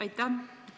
Aitäh!